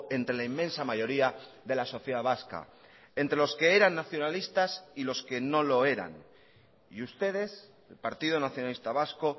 entre la inmensa mayoría de la sociedad vasca entre los que eran nacionalistas y los que no lo eran y ustedes el partido nacionalista vasco